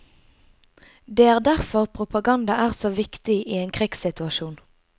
Det er derfor propaganda er så viktig i en krigssituasjon.